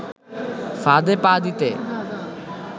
ফাঁদে পা দিতে